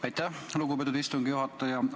Aitäh, lugupeetud istungi juhataja!